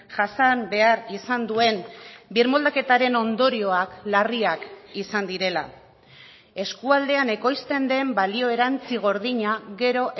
jasan behar izan duen birmoldaketaren ondorioak larriak izan direla eskualdean ekoizten den balio erantzi gordina gero